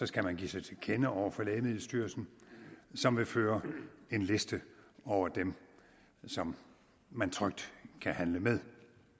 skal man give sig til kende over for lægemiddelstyrelsen som vil føre en liste over dem som man trygt kan handle med